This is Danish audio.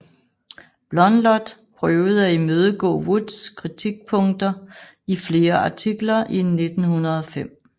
Blondlot prøvede at imødegå Woods kritikpunkter i flere artikler i 1905